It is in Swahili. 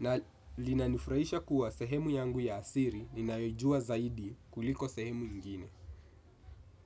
Na linanifurahisha kuwa sehemu yangu ya siri ninayojua zaidi kuliko sehemu ingine.